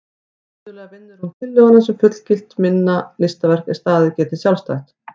Iðulega vinnur hún tillöguna sem fullgilt minna listaverk er staðið geti sjálfstætt.